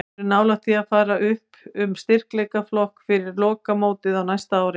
Við erum nálægt því að fara upp um styrkleikaflokk fyrir lokamótið á næsta ári.